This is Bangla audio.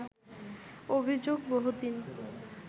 অভিযোগ বহুদিন